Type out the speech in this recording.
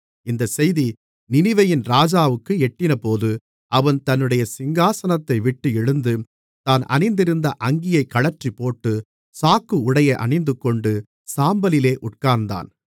இந்தச் செய்தி நினிவேயின் ராஜாவுக்கு எட்டினபோது அவன் தன்னுடைய சிங்காசனத்தைவிட்டு எழுந்து தான் அணிந்திருந்த அங்கியைக் கழற்றிப்போட்டு சாக்கு உடையை அணிந்துகொண்டு சாம்பலிலே உட்கார்ந்தான்